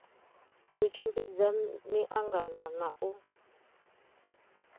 u tshimbidza miangano na u